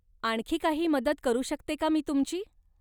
आणखी काही मदत करू शकते का मी तुमची?